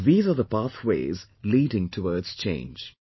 See, these are the pathways leading towards change